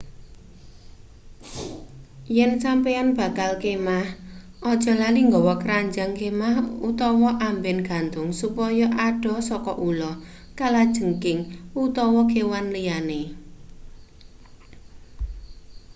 yen sampeyan bakal kemah ojo lali nggawa kranjang kemah utawa amben gantung supaya adoh saka ula kalajengking utawa kewan liyane